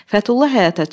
Fətulla həyətə çıxdı.